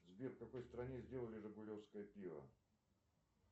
сбер в какой стране сделали жигулевское пиво